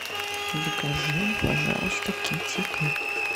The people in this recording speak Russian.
закажи пожалуйста китикет